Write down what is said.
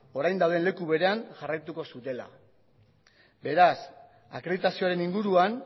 orain dauden leku berean jarraituko zutela beraz akreditazioaren inguruan